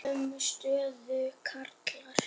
Sömu stöðu og karlar.